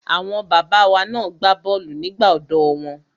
Àwọn bàbá wa na gbá bọ́ọ̀lù nígbà ọ̀dọ́ wọn.